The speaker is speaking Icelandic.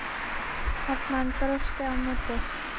Hermann brosti á móti.